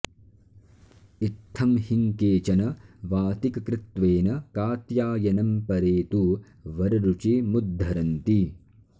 इत्थं हिं केचन वातिककृत्त्वेन कात्यायनम् परे तु वररुचिमुद्धरन्ति